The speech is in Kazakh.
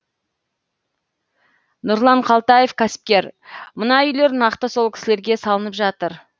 нұрлан қалтаев кәсіпкер мына үйлер нақты сол кісілерге салынып жатыр